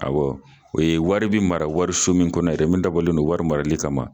o ye wari bi mara wari so min kɔnɔ yɛrɛ min, dabɔlen don wari marali kama.